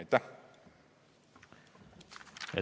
Aitäh!